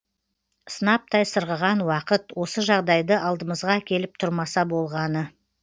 сынаптай сырғыған уақыт осы жағдайды алдымызға әкеліп тұрмаса болғаны